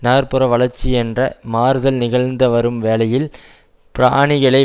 நகர் புற வளர்ச்சி என்ற மாறுதல் நிகழ்த்துவரும் வேளையில் பிராணிகளை